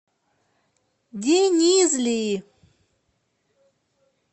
денизли